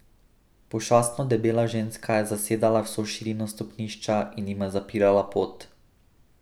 Pošastno debela ženska je zasedala vso širino stopnišča in jima zapirala pot.